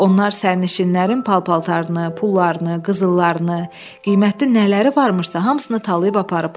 Onlar sərnişinlərin paltarını, pullarını, qızıllarını, qiymətli nələri varmışsa, hamısını talayıb aparıblar.